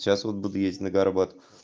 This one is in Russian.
сейчас вот буду ездить на горбат